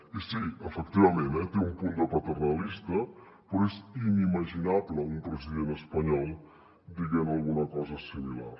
i sí efectivament eh té un punt de paternalista però és inimaginable un president espanyol dient alguna cosa similar